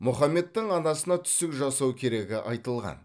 мұхаммедтің анасына түсік жасау керегі айтылған